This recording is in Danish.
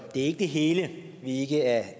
ikke det hele vi ikke er